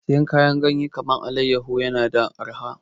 Siyan kayan ganyen kaman allayaho na da arha